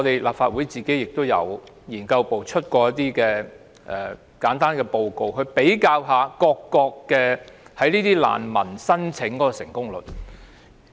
立法會資訊服務部資料研究組曾發表一份研究報告，比較各國難民申請的成功率。